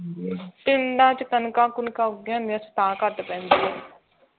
ਪੀੜਾਂ ਚੋਂ ਕਣਕਾਂ ਕੁਣਕਾਂ ਉੱਗਿਆ ਹੁੰਦੀਆਂ ਹੈ ਉਥੇ ਤਾਂ ਕਰਕੇ ਘੱਟ ਪੈਂਦੀ ਹੈ